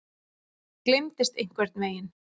Gleymdist einhvern veginn.